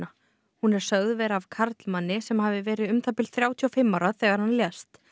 hún er sögð vera af karlmanni sem hafi verið um það bil þrjátíu og fimm ára þegar hann lést